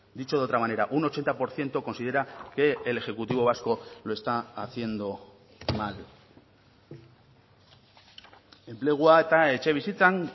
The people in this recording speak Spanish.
dicho de otra manera un ochenta por ciento considera que el ejecutivo vasco lo está haciendo mal enplegua eta etxebizitzan